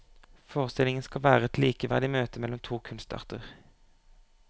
Forestillingen skal være et likeverdig møte mellom to kunstarter.